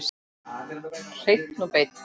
Hreinn og beinn.